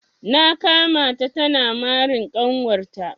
Na kama ta tana marin kanwar ta.